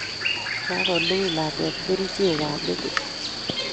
Kagolugui lakwet kerichek kab metit